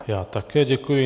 Já také děkuji.